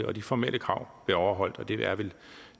og de formelle krav blev overholdt og det er vel